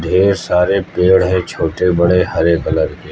ये सारे पेड़ है छोटे बड़े हरे कलर के।